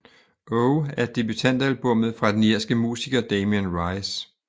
O er debutalbummet fra den irske musiker Damien Rice